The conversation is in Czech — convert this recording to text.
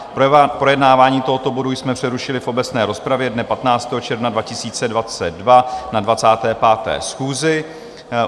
Projednávání tohoto bodu jsme přerušili v obecné rozpravě dne 15. června 2022 na 25. schůzi.